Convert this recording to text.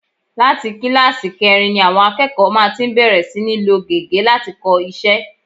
Láti kíláàsì kẹrin ni àwọn akẹ́kọ̀ọ́ má ti ń bẹ̀rẹ̀ sí ní lo gègé láti kọ iṣẹ́